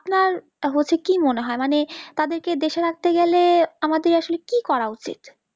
আপনার হচ্ছে কি মনে হয় মানে তাদেরকে দেশে রাখতে গেলে আমাদের আসলে কি করা উচিত